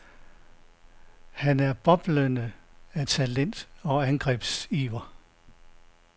Han er boblende af talent og angrebsiver.